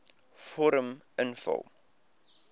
vorm invul